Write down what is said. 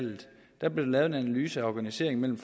der blev lavet en analyse af organiseringen mellem